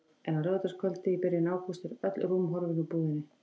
En á laugardagskvöldi í byrjun ágúst eru öll rúm horfin úr búðinni.